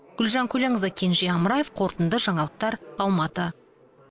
гүлжан көленқызы кенже амраев қорытынды жаңалықтар алматы